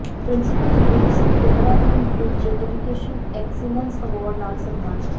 principal Jagroop Singh Dehradun ਵਿਖ education excellence award ਨਾਲ ਸਨਮਾਨਿਤ